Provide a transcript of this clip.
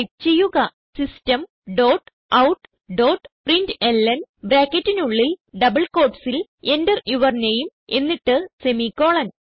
type ചെയ്യുക system dot out dot println ബ്രാക്കറ്റിനുള്ളിൽ double quotesസിൽ Enter യൂർ നാമെ എന്നിട്ട് സെമിക്കോളൻ